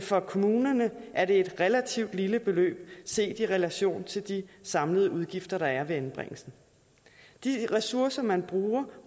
for kommunerne er et relativt lille beløb set i relation til de samlede udgifter der er ved anbringelsen de ressourcer man bruger